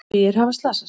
Tugir hafa slasast